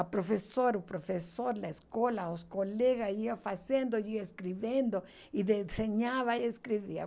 A professora o professor, a escola, os colegas, ia fazendo, ia escrevendo, e desenhava e escrevia.